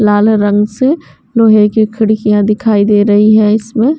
लाल रंग से लोहे की खिड़कियाँ दिखाई दे रही है इसमें --